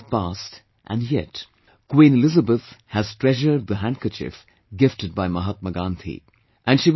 So many years have passed and yet, Queen Elizabeth has treasured the handkerchief gifted by Mahatma Gandhi